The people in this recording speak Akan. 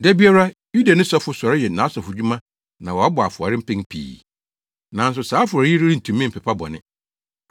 Da biara Yudani sɔfo sɔre yɛ nʼasɔfodwuma na wabɔ afɔre mpɛn pii. Nanso saa afɔre yi rentumi mpepa bɔne.